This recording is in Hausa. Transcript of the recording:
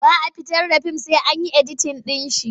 Ba a fitar da fim sai an yi editin ɗinsa.